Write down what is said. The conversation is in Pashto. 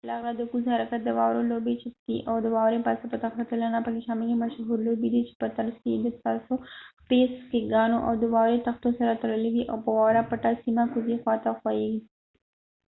له غره د کوز حرکت د واورو لوبې چې سکي او د واورې پاسه په تخته تلنه پکې شامل دي مشهورې لوبې دي چې په ترڅ کې يې د ستاسو پښې د سکیګانو او د واورې تختو سره تړلې وي او په واوره پټه سیمه کوزې خوا ته خویېږئ